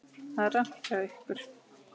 Það er rangt hjá ykkur.